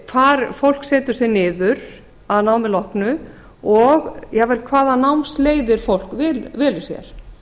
hvar fólk setur sig niður að námi loknu og jafnvel hvaða námsleiðir fólk velur sér